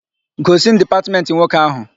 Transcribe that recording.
Gosi m dipatmentị nwoke áhụ̀!